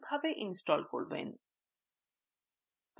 filezilla কীভাবে install করবেন